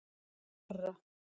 Snorra